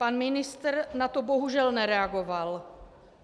Pan ministr na to bohužel nereagoval.